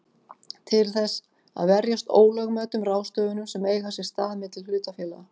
til þess að verjast ólögmætum ráðstöfunum sem eiga sér stað milli hlutafélaga.